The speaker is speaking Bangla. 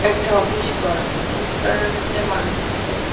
এটা অফিস ঘর অফিস ঘরের ভিতরে মানুষ আসে--